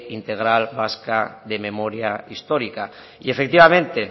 integral vasca de memoria histórica y efectivamente